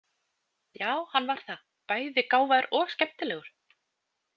Já, hann var það, bæði gáfaður og skemmtilegur.